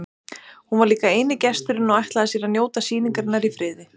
Hún var líka eini gesturinn og ætlaði sér að njóta sýningarinnar í friði.